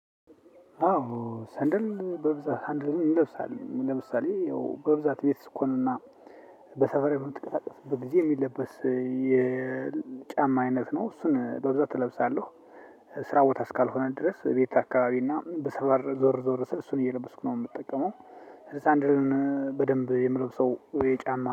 አዎ ሰንደል በብዛት ሰንደል ይለብሳል ለምሳሌ ያው በብዛት ቤት ስኮንና በሰፈራ ብንጥቅላቀስ በጊዜ የሚለበስ የጫማ አይነት ነው። እሱን በብዛት እለብሳለሁ ስራ ቦታ እስካልሆነ ድረስ፣ ቤት አካባቢ እና በሰፈር ዞር ዞር ስል እሱን እየለበስኩ ነው። የምትጠቀመው ሳንድሮን በደንብ የምለብሰው የጫማ